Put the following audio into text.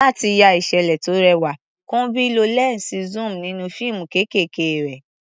Láti ya ìṣẹ̀lẹ̀ tó rẹwà, Kunbi lo lẹ́ńsì zoom nínú fíìmù kéékèèké rẹ̀.